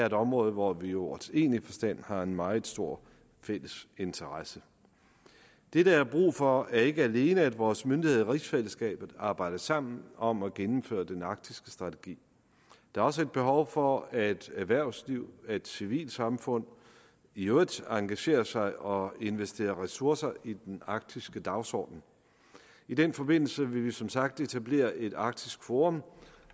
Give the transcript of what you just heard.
et område hvor vi i ordets egentlige forstand har en meget stor fælles interesse det der er brug for er ikke alene at vores myndigheder i rigsfællesskabet arbejder sammen om at gennemføre den arktiske strategi der er også et behov for at erhvervslivet og civilsamfundet i øvrigt engagerer sig og investerer ressourcer i den arktiske dagsorden i den forbindelse vil vi som sagt etablere et arktisk forum